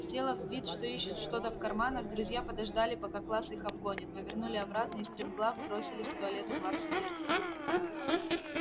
сделав вид что ищут что-то в карманах друзья подождали пока класс их обгонит повернули обратно и стремглав бросились к туалету плаксы миртл